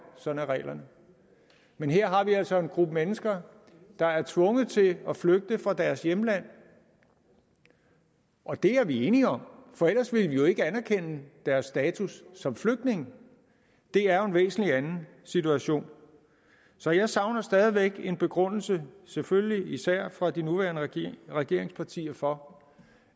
sådan er reglerne men her har vi altså en gruppe mennesker der er tvunget til at flygte fra deres hjemland og det er vi enige om for ellers ville vi jo ikke anerkende deres status som flygtninge det er jo en væsentlig anden situation så jeg savner stadig væk en begrundelse selvfølgelig især fra de nuværende regeringspartier for